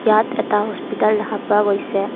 ইয়াত এটা হস্পিটাল দেখা পোৱা গৈছে।